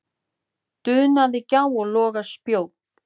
dunaði gjá og loga spjó.